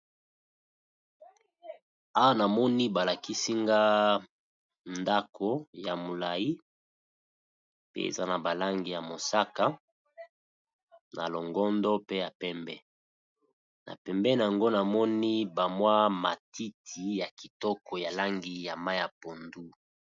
Awa na moni ba lakisi nga ndaku ya mulayi, eza na ba langi ya mosaka, ya longondo pe ya pembe. Na pembeni n'ango na moni ba mwa matiti ya Kitoko ya langi ya mayi ya pondu.